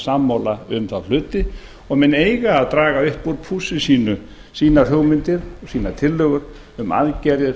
sammála um þá hluti og menn eiga að draga upp úr pússi sínu sínar hugmyndir og sínar tillögur um aðgerðir